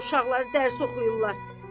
Xalqın da uşaqları dərs oxuyurlar.